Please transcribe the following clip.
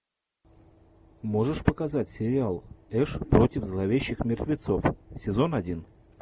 можешь показать сериал эш против зловещих мертвецов сезон один